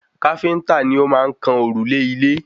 Káfíntà ni o maá n kan òrùlé ilé